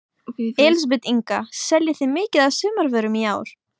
Elísabet Inga: Seljið þið mikið af sumarvörum í ár?